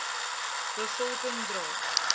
be volking dra